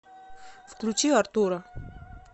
включи артура